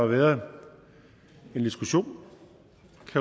været en diskussion